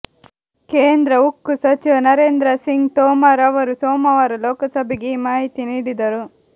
ಕೇಂದ್ರ ಉಕ್ಕು ಸಚಿವ ನರೇಂದ್ರ ಸಿಂಗ್ ತೋಮರ್ ಅವರು ಸೊಮವಾರ ಲೋಕಸಭೆಗೆ ಈ ಮಾಹಿತಿ ನೀಡಿದರು